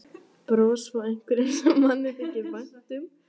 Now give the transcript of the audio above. Bros frá einhverjum sem manni þykir vænt um.